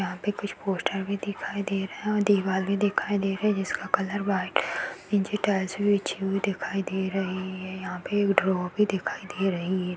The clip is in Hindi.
यहां पर कुछ पोस्टर भी दिखाई दे रहे हैं और दीवार भी दिखाई दे रही है जिसका कलर व्हाइट नीचे टाइल्स बिछी हुई दिखाई दे रही है यहाँ पे एक ड्रोव भी दिखाई दे रही है।